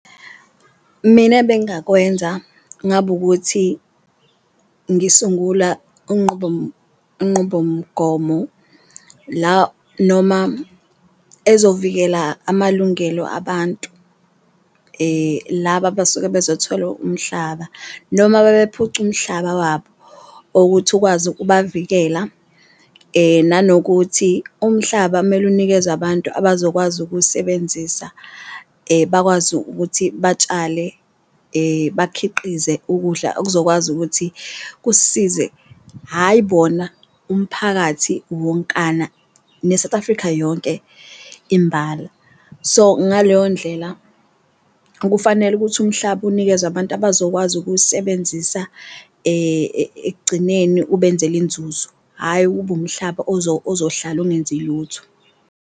Mina ebengakwenza ngaba ukuthi ngisungula unqubomgomo la noma ezovikela amalungelo abantu laba abasuke bezothola umhlaba, noma bebephucu umhlaba wabo okuthi ukwazi ukubavikela. Nanokuthi umhlaba mele unikezwe abantu abazokwazi ukuwusebenzisa, bakwazi ukuthi batshale, bakhiqize ukudla okuzokwazi ukuthi kusisize hhayi bona umphakathi wonkana ne-South Africa yonke imbala. So, ngaleyo ndlela kufanele ukuthi umhlaba unikezwe abantu abazokwazi ukuwusebenzisa ekugcineni ubenzele inzuzo, hhayi kube umhlaba ozohlala ungenzi lutho.